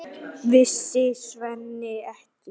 Vissi Svenni ekki?